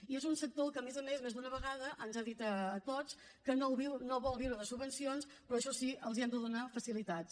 i és un sector que a més a més més d’una vegada ens ha dit a tots que no vol viure de subvencions però això sí els hem de donar facilitats